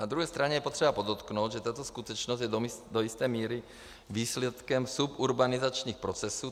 Na druhé straně je potřeba podotknout, že tato skutečnost je do jisté míry výsledkem suburbanizačních procesů.